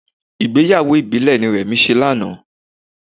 Ìgbéyàwó ìbílẹ̀ ni Remi ṣe lánàá